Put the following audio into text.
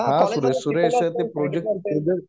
हा कॉलेजमध्ये